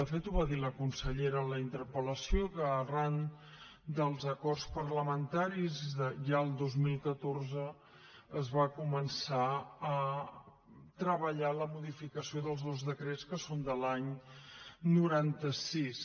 de fet ho va dir la consellera en la interpel·lació que arran dels acords parlamentaris ja el dos mil catorze es va començar a treballar en la modificació dels dos decrets que són de l’any noranta sis